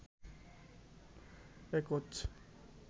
একচ